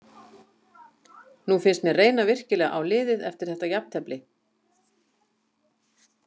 Nú finnst mér reyna virkilega á liðið eftir þetta jafntefli.